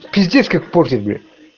пиздиш как в погребе